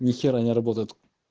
нехера не работает